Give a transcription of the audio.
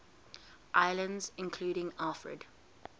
islands included alfred